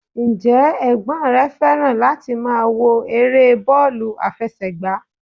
Ǹ jẹ́ ẹ̀gbọ́n rè fẹ́ràn láti máa wo eré bọ́ọ̀lù àfẹsẹ̀gbá?